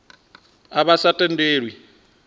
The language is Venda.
a vha a sa tendelwi